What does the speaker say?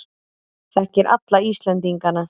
Þekkir alla Íslendingana.